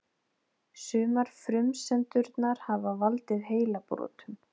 Sumar frumsendurnar hafa valdið heilabrotum.